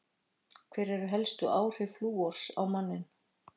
Hver eru helstu áhrif flúors á manninn?